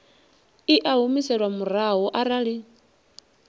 i a humiselwa murahu arali